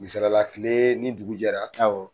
Misala la tile ni dugu jɛra, awɔ